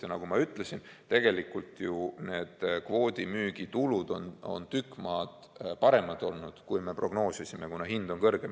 Ja nagu ma ütlesin, tegelikult ju need kvoodimüügi tulud on tükk maad paremad olnud, kui me prognoosisime, kuna hind on kõrgem.